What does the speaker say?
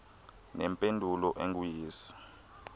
nempendulo engu yes